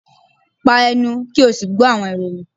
pa ẹnu! ki o si gbọ awọn iroyin